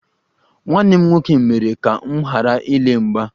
Nwanne m nwoke mere ka m ghara ile mgba